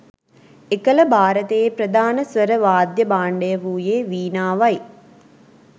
එකල භාරතයේ ප්‍රධාන ස්වර වාද්‍ය භාණ්ඩය වූයේ වීණාවයි